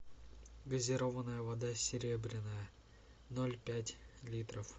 газированная вода серебряная ноль пять литров